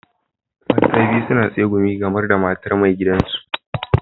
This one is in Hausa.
Mata biyun suna tsegumi game da matar mai gidan su.